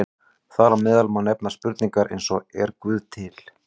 Þar á meðal má nefna spurningar eins og Er Guð til?